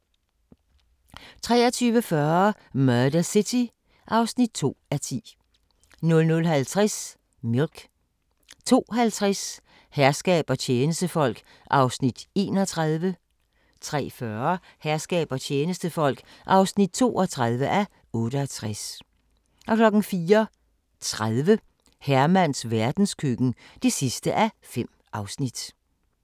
23:40: Murder City (2:10) 00:50: Milk 02:50: Herskab og tjenestefolk (31:68) 03:40: Herskab og tjenestefolk (32:68) 04:30: Hermans verdenskøkken (5:5)